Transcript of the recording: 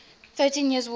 thirteen years war